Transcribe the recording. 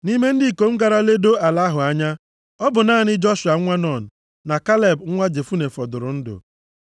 Nʼime ndị ikom gara ledoo ala ahụ anya, ọ bụ naanị Joshua nwa Nun na Kaleb nwa Jefune fọdụrụ ndụ.